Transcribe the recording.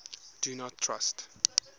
do not trust